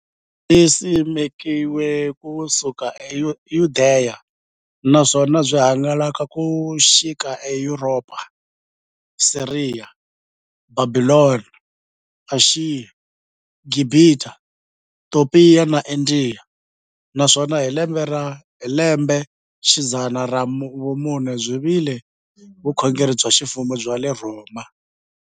Byisimekiwe ku suka e Yudeya, naswona byi hangalake ku xika e Yuropa, Siriya, Bhabhilona, Ashiya, Gibhita, Topiya na Indiya, naswona hi lembexidzana ra vumune byi vile vukhongeri bya ximfumo bya le Rhoma.